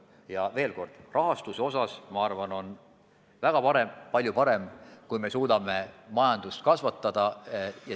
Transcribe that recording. Ja veel kord: rahastuse seisukohalt on väga palju parem, kui me suudame majandust kasvatada.